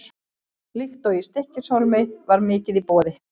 Líkt og í Stykkishólmi var mikið í boði.